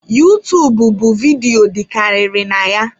Utuub bụ vidiyo dịkarịrị na ya